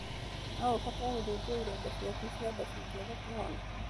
No ũbatare gũthĩnjwo ironda ciaku cia nda cingĩanga kũhona.